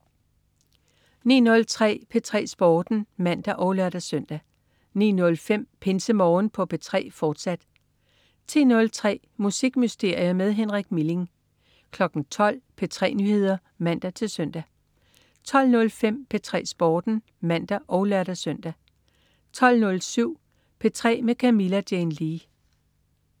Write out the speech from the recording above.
09.03 P3 Sporten (man og lør-søn) 09.05 PinseMorgen på P3, fortsat 10.03 Musikmysterier med Henrik Milling 12.00 P3 Nyheder (man-søn) 12.05 P3 Sporten (man og lør-søn) 12.07 P3 med Camilla Jane Lea